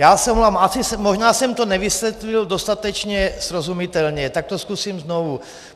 Já se omlouvám, možná jsem to nevysvětlil dostatečně srozumitelně, tak to zkusím znovu.